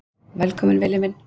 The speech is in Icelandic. Velkominn Villi minn.